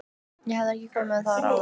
Ég hef ekki komið þar áður.